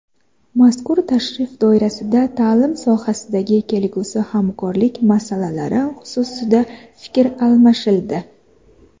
Mazkur tashrif doirasida ta’lim sohasidagi kelgusi hamkorlik masalalari xususida fikr almashildi.